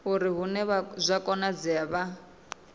uri hune zwa konadzea vha